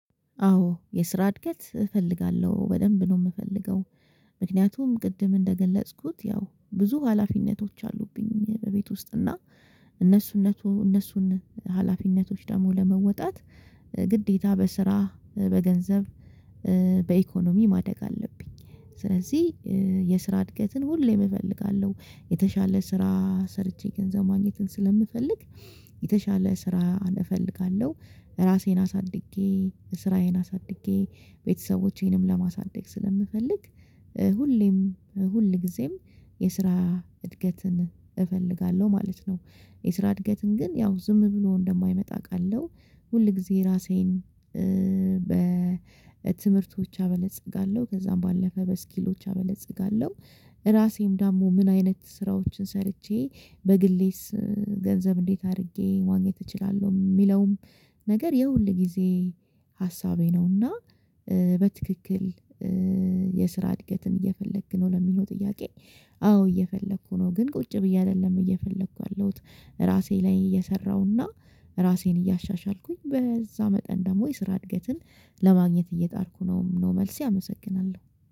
አዎ የስራ እድገት እፈልጋለሁ በደንብ ነው የምፈልገው። ምክንያቱም ቅድም እንደገለጽኩት ያው ብዙ ሀላፊነቶች አሉብኝ በቤት ውስጥ እና እነሱን አነሱ እነሱን ሀላፊነቶች ደግሞ ለመወጣት ግዴታ በስራ በገንዘብ በኢኮኖሚ ማደግ አለብኝ ስለዚህ የስራ እድገትን ሁሌም እፈልጋለው። የተሻለ ስራ ሰርቼ ገንዘብ ማግኘትን ስለምፈልግ የተሻለ ስራ እፈልጋለሁ አራሴን አሳድጌ ስራዬን አሳድጌ ቤተሰቦቼንም ለማሳደግ ስለምፈልግ ሁሌም ሁል ጊዜም የስራ እድገትን እፈልጋለሁ ማለት ነው። የስራ እድገትን ግን ያው ዝም ብሎ እንደማይመጣ አቃለው ሁል ጊዜ ራሴን በትምህርት ብቻ አበለጽጋለው ከዛም ባለፈ በስኪሎች አበለጽጋለው ራሴም ደግሞ ምን አይነት ስራዎችን ሰርቼ በግሌስ ገንዘብ እንዴት አሪጌ ማግኘት እችላለው? የሚለውም ነገር የሁል ጊዜ ሀሳቤ ነውና በትክክል የስራ እድገትን እየፈለክ ነው ለሚለው ጥያቄ አዎ እየፈለኩ ነው። ግን ቁጭ ብዬ አይደለም እየፈለኩ ያለሁት አራሴ ላይ እየሰራሁና ራሴን እያሻሻልኩኝ በዛ መጠን ደግሞ የስራ እድገትን ለማግኘት እየጣርኩ ነው መልሴ አመሰግናለው።